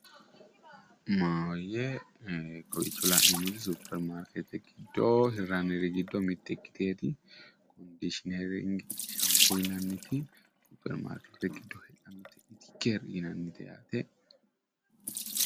kowiicho la'neemmori supermarkeetete giddo mitte ikkitinoti kondishinering shampo yinanniti supermarkeetete giddo heedhanote alkeri yinannite yaate.